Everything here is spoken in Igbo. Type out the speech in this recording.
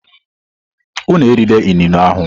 Unu erila inine ahu!